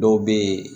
Dɔw bɛ ye